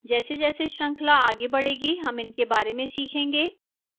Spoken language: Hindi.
जैसे जैसे श्रृंखला आगे बढ़ेगी हम इनके बारे में सीखेंगे